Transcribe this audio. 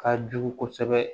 Ka jugu kosɛbɛ